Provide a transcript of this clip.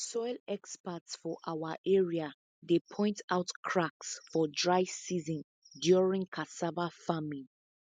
soil experts for our area dey point out cracks for dry season during cassava farming